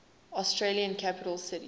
australian capital cities